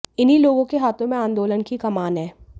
इन्ही लोगों के हाथों में आंदोलन की कमान है